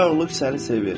Varoluş səni sevir.